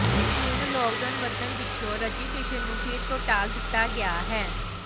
ਹੁਣ ਲਾਕਡਾਊਨ ਵਧਣ ਪਿੱਛੋਂ ਰਜਿਸਟ੍ਰੇਸ਼ਨ ਨੂੰ ਫਿਰ ਤੋਂ ਟਾਲ ਦਿੱਤਾ ਗਿਆ ਹੈ